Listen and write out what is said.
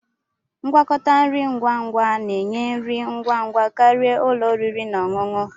Ngwakọta nri ngwa ngwa na-enye nri ngwa ngwa karịa ụlọ oriri na ọṅụṅụ